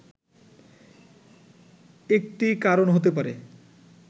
একটি কারণ হতে পারে